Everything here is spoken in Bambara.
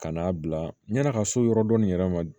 Ka n'a bila yann'a ka so yɔrɔ dɔ nin yɛrɛ ma